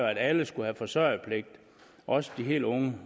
at alle skulle have forsørgerpligt også de helt unge